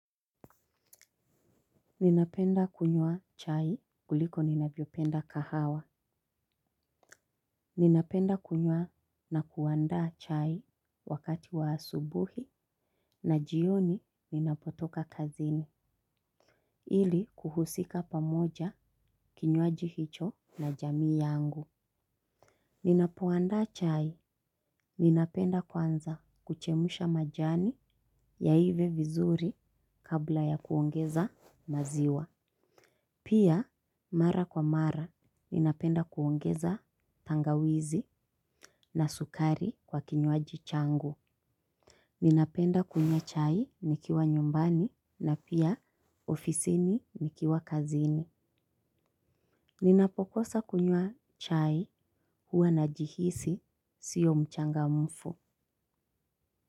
Ninapenda kunywa chai kuliko ninavyopenda kahawa. Ninapenda kunywa na kuandaa chai wakati wa asubuhi na jioni ninapotoka kazini. Ili kuhusika pamoja kinywaji hicho na jamii yangu. Ninapoandaa chai ninapenda kwanza kuchemusha majani yaive vizuri kabla ya kuongeza maziwa. Pia, mara kwa mara, ninapenda kuongeza tangawizi na sukari kwa kinywaji changu. Ninapenda kunywa chai nikiwa nyumbani na pia ofisini nikiwa kazini. Ninapokosa kunywa chai huwa najihisi sio mchangamfu.